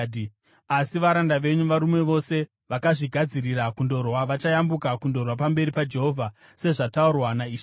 Asi varanda venyu, varume vose vakazvigadzirira kundorwa, vachayambuka kundorwa pamberi paJehovha sezvataurwa naishe wedu.”